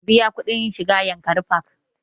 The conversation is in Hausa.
Ka biya kuɗin shiga yankari park!